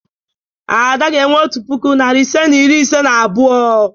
Ada ga-enwe otu puku, narị ise na iri ise na abụọ.